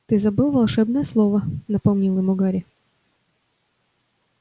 ты забыл волшебное слово напомнил ему гарри